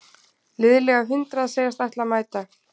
Liðlega hundrað segjast ætla að mæta